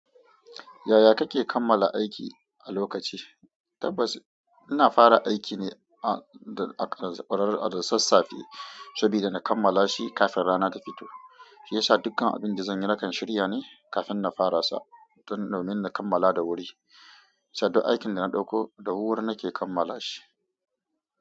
Yaya kake kammala aiki a lokaci? Tabbas ina fara aiki ne a da ƙarar da sassafe saboda na kammala shi kafin rana ta fito, shi yasa dukkan abin da zan yi nakan shirya ne kafin na fara sa dan, domin na kammala da wuri, saboda aikin da na ɗauko da wuri nake kammala shi.